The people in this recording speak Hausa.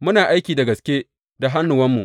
Muna aiki da gaske da hannuwanmu.